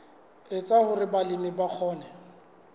etsa hore balemi ba kgone